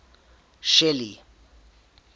shelly